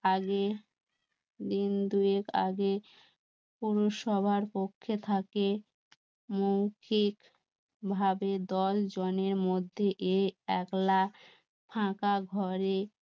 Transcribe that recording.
আগে দিন দুয়েক আগে পুরুষ সবার পক্ষে থাকে মৌখিক ভাবে দল জনের মধ্যে এ একলা